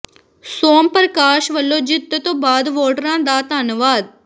ਸੋਮ ਪ੍ਰਕਾਸ਼ ਵੱਲੋਂ ਜਿੱਤ ਤੋਂ ਬਾਅਦ ਵੋਟਰਾਂ ਦਾ ਧੰਨਵਾਦ